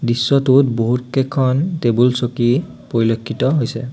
দৃশ্যটোত বহুত কেইখন টেবুল চকী পৰিলক্ষিত হৈছে।